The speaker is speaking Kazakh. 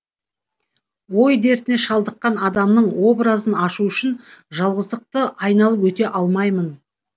ой дертіне шалдыққан адамның образын ашу үшін жалғыздықты айналып өте алмаймын